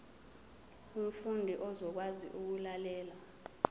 umfundi uzokwazi ukulalela